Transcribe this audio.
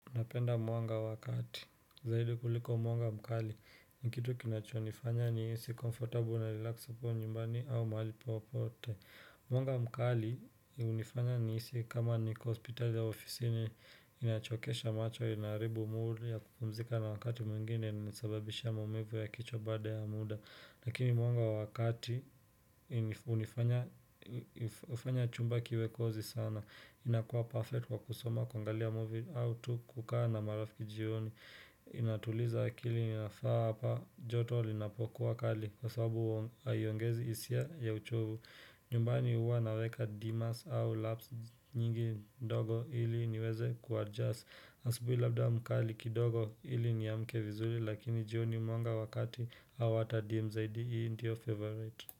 Napenda mwanga wakati, zaidi kuliko mwanga mkali, ni kitu kinachonifanya nihisi comfortable na relax nikiwa nyumbani au mahali popote. Mwanga mkali hunifanya nihisi kama niko hospitali au ofisini inachokesha macho inaharibu mood ya kupumzika na wakati mwingine inasababisha maumivu ya kichwa baada ya muda. Lakini mwanga wa kati hunifanya chumba kiwe cosy sana inakua perfect kwa kusoma kungalia movie au tu kukaa na marafiki jioni Inatuliza akili inafaa hapa joto linapokuwa kali Kwa sababu haiongezi hisia ya uchovu nyumbani huwa naweka dimas au laps nyingi ndogo ili niweze kuadjust asubuhi labda mkali kidogo ili niamke vizuri Lakini jioni mwanga wa kati au hata dim zaidi hii ndio favorite.